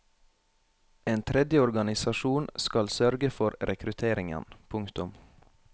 En tredje organisasjon skal sørge for rekrutteringen. punktum